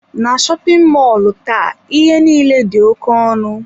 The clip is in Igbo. Na shopin mọlụ taa ihe niile di oké ọnụ.